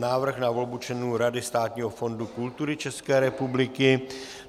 Návrh na volbu členů Rady Státního fondu kultury České republiky